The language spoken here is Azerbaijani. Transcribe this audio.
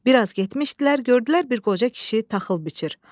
Bir az getmişdilər, gördülər bir qoca kişi taxıl biçir.